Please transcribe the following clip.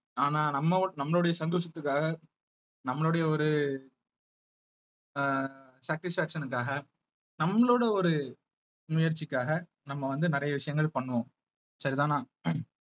ஆனா நம்ம நம்மவோ~ நம்மளுடைய சந்தோஷத்துக்காக நம்மளுடைய ஒரு அஹ் satisfaction காக நம்மளோட ஒரு முயற்சிக்காக நம்ம வந்து நிறைய விஷயங்கள் பண்ணுவோம் சரிதானா